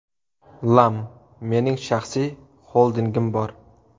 Lam: Mening shaxsiy xoldingim bor.